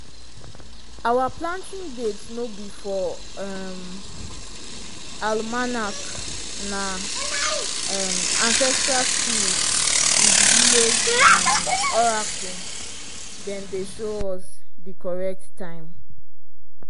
our planting date no be for um almanac na um ancestral spirit and village um oracle dem dey show us di correct time.